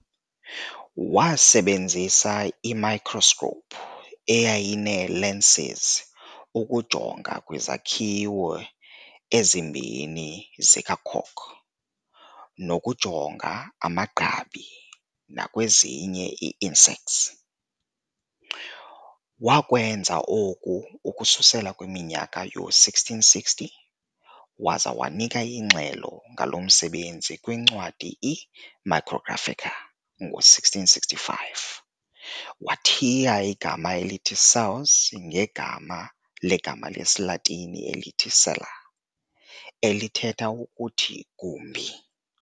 Wasebenzisa i-microscope eyayinee-lenses ukujonga kwizakhiwo ezimbini zikacork, nokujonga amagqabi nakwezinye iiinsects. Wakwenza oku ukususela kwiminyaka yoo-1660, waza wanika ingxelo ngalo msebenzi kwincwadi i"-Micrographica" ngo-1665. Wathiya igama elithi cells ngegama legama le-siLatini elithi-"cella", elithetha ukuthi 'gumbi'.